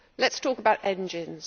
Let us talk about engines.